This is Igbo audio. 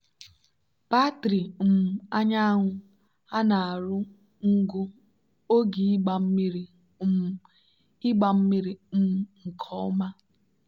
batrị um anyanwụ ha na-arụ ngụ oge ịgba mmiri um ịgba mmiri um nke ọma.